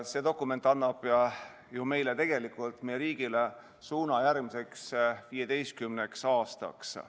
See dokument annab meile, meie riigile suuna järgmiseks 15 aastaks.